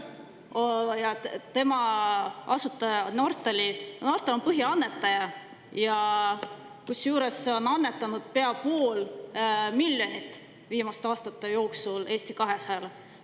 Nortal on põhiannetaja, ta on annetanud pea pool miljonit viimaste aastate jooksul Eesti 200-le.